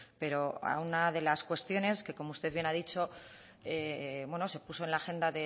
pero a una de las cuestiones que como usted bien ha dicho se puso en la agenda